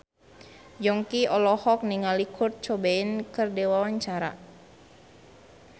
Yongki olohok ningali Kurt Cobain keur diwawancara